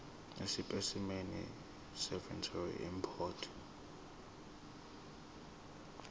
esipesimeni seveterinary import